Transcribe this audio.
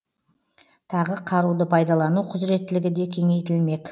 тағы қаруды пайдалану құзыреттілігі де кеңейтілмек